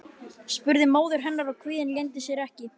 spurði móðir hennar og kvíðinn leyndi sér ekki.